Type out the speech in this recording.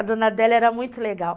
A dona Adélia era muito legal.